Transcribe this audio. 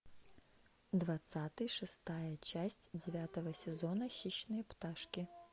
двадцатый шестая часть девятого сезона хищные пташки